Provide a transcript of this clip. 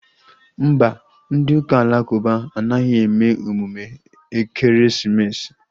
Mba, ndị ụka alakụba anaghị eme emume ekeresimesi